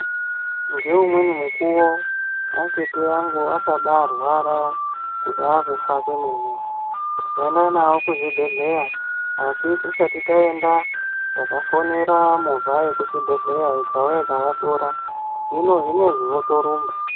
Ngeumweni mukuwo atete angu akabarwara kuda kufa kwemene takaenda navo kuzvibhedhleya asi tisati taenda takafonera movha yekuchibhedhleya ikauya ikavatora hino zvinezvi votorumba.